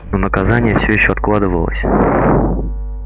но наказание все ещё откладывалось